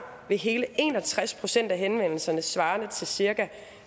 ved hele en og tres procent af henvendelserne svarende til cirka